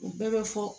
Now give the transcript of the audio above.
U bɛɛ bɛ fɔ